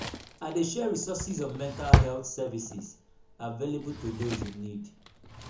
i dey share resources on mental health services available to those in need.